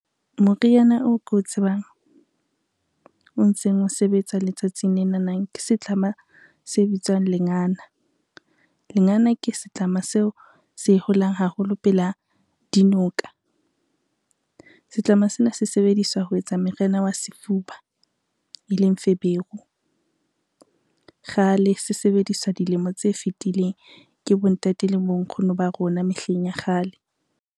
Moriana oo ke o tsebang, o ntseng o sebetsa letsatsing lenanang ke setlama se bitswang lengana. Lengana ke setlama seo se holang haholo pela dinoka, setlama sena se sebediswa ho etsa meriana wa sefuba e leng feberu. Kgale se sebediswa dilemo tse fitileng ke bontate le bonkgono ba rona mehleng ya kgale.